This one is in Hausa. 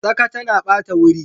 Tsaka tana bata wuri.